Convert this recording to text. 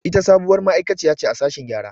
Ita sabuwar ma'aiƙaciya ce a sashen gƴara.